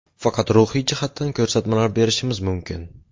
Faqat ruhiy jihatdan ko‘rsatmalar berishimiz mumkin.